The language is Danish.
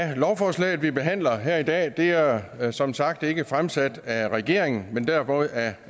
lovforslaget vi behandler her i dag er er som sagt ikke fremsat af regeringen men derimod af